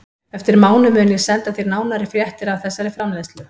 Eftir mánuð mun ég senda þér nánari fréttir af þessari framleiðslu.